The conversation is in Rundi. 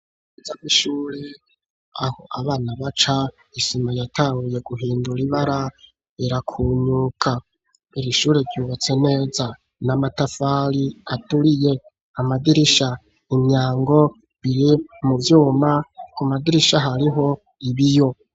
Iza ry'ishure aho abana baca isima yatanguye guhindura ibara irakunyuka ir'ishure ryubatse neza n'amatafari aturiye amadirisha imyango biri mu vyuma ku madirisha hariho ibiyo.